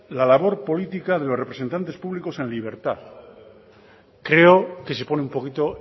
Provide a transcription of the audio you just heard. la labor política de los representantes públicos en libertad creo que se pone un poquito